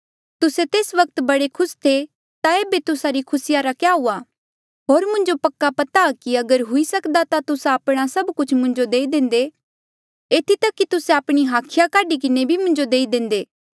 तुस्से तेस वक्त बड़े खुस थे ता ऐबे तुस्सा री खुसी रा क्या हुआ होर मुंजो पक्का पता कि अगर हुई सक्दा ता तुस्सा आपणा सब कुछ मुंजो देई देंदे एथी तक कि तुस्से आपणी हाखिया काढी किन्हें भी मुंजो देई देंदे